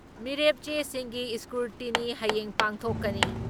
ꯃꯤꯔꯦꯞ ꯆꯦꯁꯤꯡꯒꯤ ꯏꯁꯀ꯭ꯔꯨꯇꯤꯅꯤ ꯍꯌꯦꯡ ꯄꯥꯡꯊꯣꯛꯀꯅꯤ ꯫